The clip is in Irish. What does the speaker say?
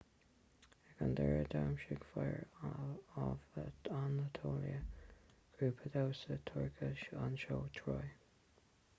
ag an deireadh dhamhsaigh fire of anatolia grúpa damhsa turcach an seó troy